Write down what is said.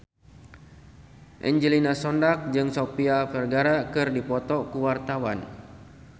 Angelina Sondakh jeung Sofia Vergara keur dipoto ku wartawan